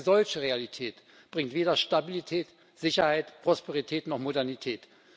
Eine solche Realität bringt weder Stabilität, Sicherheit, Prosperität noch Modernität.